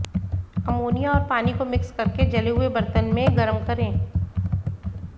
ammonia और पानी को मिक्स कर के जले हुए बर्तन में गरम करें